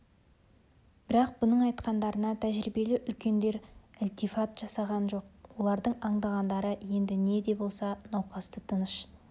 бірақ бұның айтқандарына тәжірибелі үлкендер ілтифат жасаған жоқ олардың аңдағандары енді не де болса науқасты тыныш